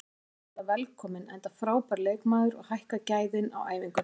Hann er náttúrulega velkominn enda frábær leikmaður og hækkar gæðin á æfingunni.